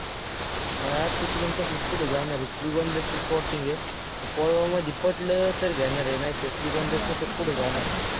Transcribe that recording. अं तिकडून तसंच पुढं जाणार आहे. श्रीगोंद्यात full plotting आहे. कोळवामध्ये पटलं तर घेणार आहे नाहीतर श्रीगोंद्यात तसंच पुढं जाणार आहे.